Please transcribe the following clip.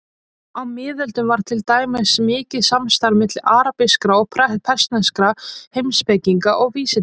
Á miðöldum var til dæmis mikið samstarf milli arabískra og persneskra heimspekinga og vísindamanna.